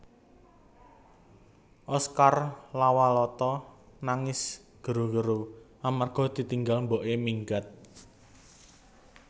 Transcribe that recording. Oscar Lawalata nangis gero gero amarga ditinggal mbok e minggat